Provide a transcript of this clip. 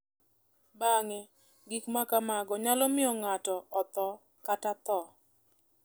Bang’e, gik ma kamago nyalo miyo ng’ato otho kata tho.